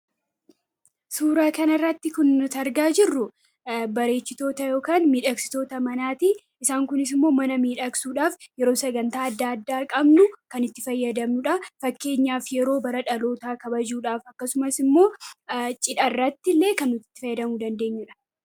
Suura kana irratti kan arginu bareechitoota yookiin miidhagsitoota manaati. Kunis immoo mana miidhagsuudhaaf yeroo sagantaalee adda addaa qabnu kan itti fayyadamnudha fakkeenyaaf yeroo guyyaa dhalootaa fi cidha kabajnu kan itti fayyadamnudha.